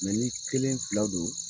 Mɛ ni kelen fila don